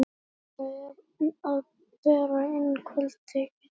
Theodóra er að bera inn kvöldteið.